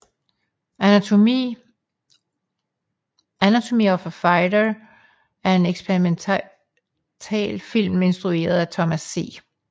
Anatomy of a fight er en eksperimentalfilm instrueret af Thomas C